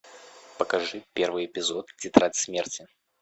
покажи первый эпизод тетрадь смерти